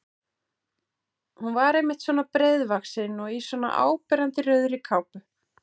Hún var einmitt svona breiðvaxin og í svona áberandi rauðri kápu!